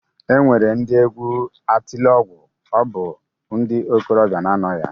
E nwere ndị egwu Atilọgwụ, ọ bụ ndị okolobịa na-anọ ya